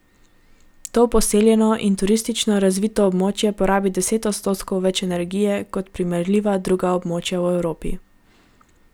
To poseljeno in turistično razvito območje porabi deset odstotkov več energije kot primerljiva druga območja v Evropi.